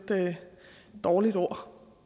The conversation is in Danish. dårligt ord